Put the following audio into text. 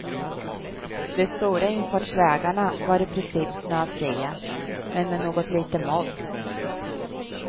De stora infartsvägarna var i princip snöfria, men med något litet modd.